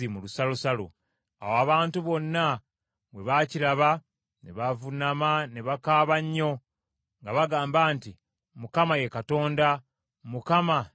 Awo abantu bonna bwe baakiraba, ne bavuunama ne bakaaba nnyo nga bagamba nti, “ Mukama , ye Katonda! Mukama , ye Katonda!”